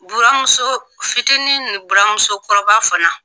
Buramuso fitinin ni buramusokɔrɔba fana